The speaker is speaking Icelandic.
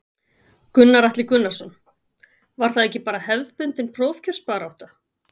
Gunnar Atli Gunnarsson: Var það ekki bara hefðbundin prófkjörsbarátta?